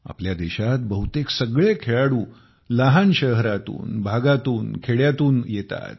आपल्या देशात बहुतेक सगळे खेळाडू लहान शहरातून भागातून कसब्यातून खेड्यातून येतात